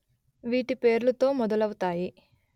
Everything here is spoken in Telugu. వీటి పేర్లుతో మొదలవుతాయి